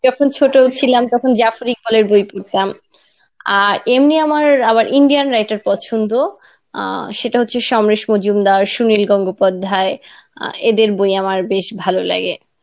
যখন ছোট ছিলাম তখন বই পড়তাম আর এমনি আমার আবার Indian writer পছন্দ আহ সেটা হচ্ছে সমরেশ মজুমদার সুনীল গঙ্গোপাধ্যায় আহ এদের বই আমার বেশ ভালো লাগে.